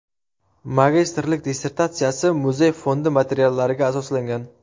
Magistrlik dissertatsiyasi muzey fondi materiallariga asoslangan.